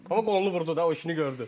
Amma qolunu vurdu da, o işini gördü.